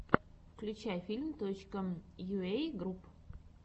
включай филм точка йуэй групп